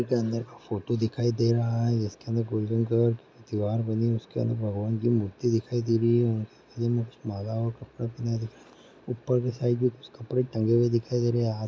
के अंदर फोटो दिखाई दे रहा है। इसके अंदर गोल्डन कलर की दीवार बनी है उसके अंदर भगवान की मूर्ति दिखाई दे रही है। माला और कपड़ा पहने ऊपर के साइक मे कुछ कपड़े टंगे हुए दिखाई दे रहे हैं --